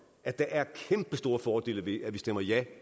at der er kæmpestore fordele ved at vi stemmer ja